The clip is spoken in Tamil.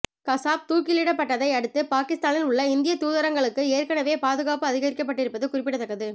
கசாப் தூக்கிலிடப்பட்டதையடுத்து பாகிஸ்தானில் உள்ள இந்திய தூதரகங்களுக்கு ஏற்கனவே பாதுகாப்பு அதிகரிக்கப்பட்டிருப்பது குறிப்பிடத்தக்கது